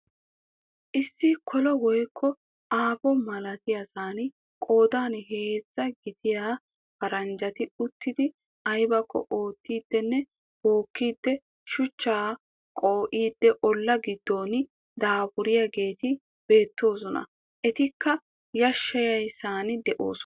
Issi kolo woykko aafo malatiyasan qoodan heezzaa gidiya paranjjati uttidi aybbakko oottidinne bookkidi shuchchaa qoo'iidi olla gidon daafuriyaageeti beettoosona. Etikka yashshiyaasan de'oosona.